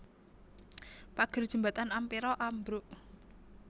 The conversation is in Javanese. Pager jembatan Ampera ambruk